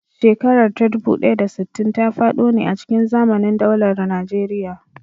Shekarar ta dubu ɗaya da sittin ta faɗo ne a cikin zamanin daular Najeriya.